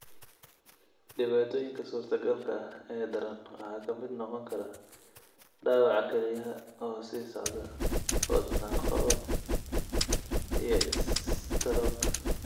Dhibaatooyinka suurtagalka ah ee daran waxaa ka mid noqon kara dhaawaca kelyaha oo sii socda, wadna qabad, iyo istaroog.